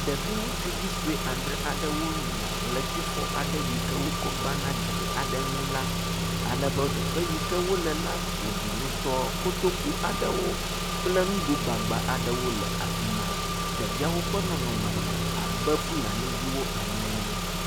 Ɖevi ŋutsuvi sue adzre wonɔ ʋletifɔ aɖe si wotsɔ gbãna gli aɖe ŋu la, ale be te yi ke wole la ƒoɖi ŋutɔ, koto kple nugo gbagbã le afi ma, ɖeviawo ƒe nɔnɔme le abe Fulani ene